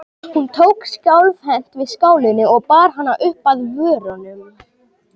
Hún tók skjálfhent við skálinni og bar hana upp að vörunum.